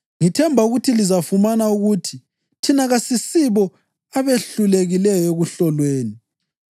Ngithemba ukuba lizafumana ukuthi thina kasisibo abehlulekileyo ekuhlolweni.